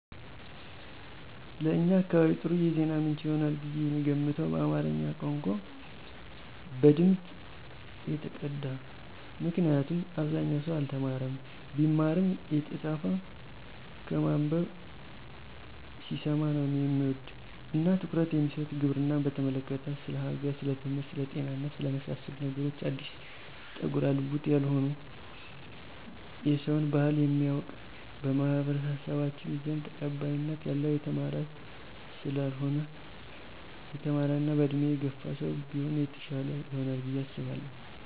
ለእኛ አካባቢ ጥሩ የዜና ምንጭ ይሆናል ብየ የምገምተው በአማረኛ ቋንቋ፣ በድምጽ የተቀዳ ምክንያቱም አብዛኛው ሰው አልተማረም ቢማርም የተጻፈ ከማነበብ ሲሰማ ነው ሚወድ እና ትኩረት የሚሰጥ፣ ግብርናን በተመለከተ፣ ስለ ሀገር፣ ስለትምህርት፣ ስለ ጤና እና ስለመሳሰሉት ነገሮች አዲስ ጠጉረ ልውጥ ያልሆነ የሰውን ባህል የሚያውቅ፣ በማኅበረሰባችን ዘንድ ተቀባይነት ያለው የተማረ ሰለሆነ የተማረ እና በእድሜ የገፋ ሰው ቢሆን የተሻለ ይሆናል ብየ አሰባለሁ።